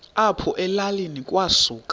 apho elalini kwasuka